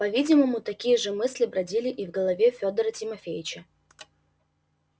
по-видимому такие же мысли бродили и в голове федора тимофеича